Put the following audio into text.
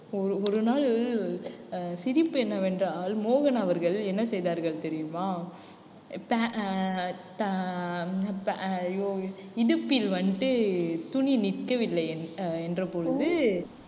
ஒரு ஒரு நாள் அஹ் சிரிப்பு என்னவென்றால் மோகன் அவர்கள் என்ன செய்தார்கள் தெரியுமா? pa~ ஆஹ் அஹ் ஐயோ இடுப்பில் வந்துட்டு துணி நிற்கவில்லை அஹ் என்ற பொழுது